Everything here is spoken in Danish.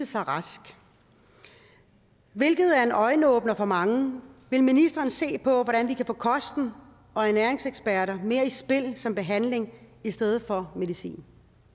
sig rask hvilket er en øjenåbner for mange vil ministeren se på hvordan vi kan få kosten og ernæringseksperter mere i spil som behandling i stedet for medicin